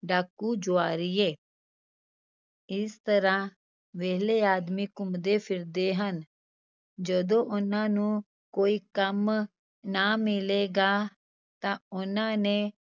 ਡਾਕੂ ਜੁਆਰੀਏ ਇਸ ਤਰ੍ਹਾਂ ਵਿਹਲੇ ਆਦਮੀ ਘੁੰਮਦੇ ਫਿਰਦੇ ਹਨ, ਜਦੋਂ ਉਹਨਾਂ ਨੂੰ ਕੋਈ ਕੰਮ ਨਾ ਮਿਲੇਗਾ, ਤਾਂ ਉਹਨਾਂ ਨੇ